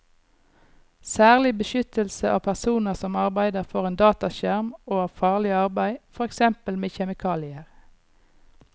Særlig beskyttelse av personer som arbeider foran dataskjerm og av farlig arbeid, for eksempel med kjemikalier.